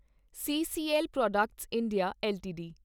CCL products India LTD